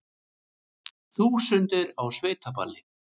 Þúsundir á sveitaballi